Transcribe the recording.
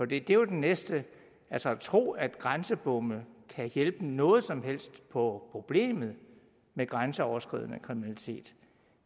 det er jo den næste altså at tro at grænsebomme kan hjælpe noget som helst på problemet med grænseoverskridende kriminalitet